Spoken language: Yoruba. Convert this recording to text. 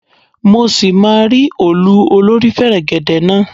Mọ ṣì máa rí òòlù olórí fẹ̀rẹ̀gẹ̀dẹ̀ náà.